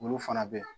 Olu fana bɛ